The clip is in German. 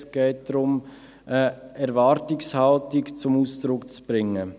Es geht darum, eine Erwartungshaltung zum Ausdruck zu bringen.